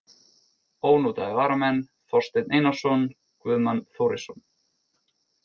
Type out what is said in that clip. Ónotaðir varamenn: Þorsteinn Einarsson, Guðmann Þórisson.